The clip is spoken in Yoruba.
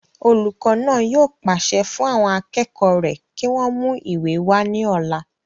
olùkọ́ náà yóò pàṣẹ fún àwọn akẹ́kọ̀ọ́ rẹ̀ kí wọ́n mú ìwé wá ní ọ̀la